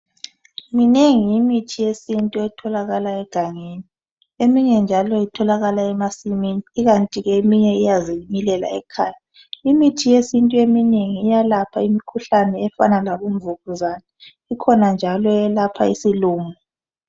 Minengi imithi yesintu etholakala egangeni emjnye njalo itholakala emasimini, ikanti ke eminye iyazimilela ekhaya. Imithi yesintu eminengi iyalapha imikhuhlane efana labomvukuzane ikhona njalo eyelapha isilumo.